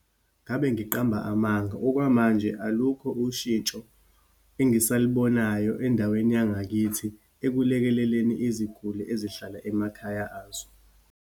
Ngabe ngiqamba amanga. Okwamanje, alukho ushintsho angisalibonayo endaweni yangakithi ekulekeleleni iziguli ezihlala emakhaya azo.